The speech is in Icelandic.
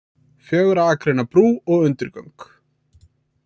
Fjögurra akreina brú og undirgöng